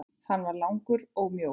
Hann var langur og mjór.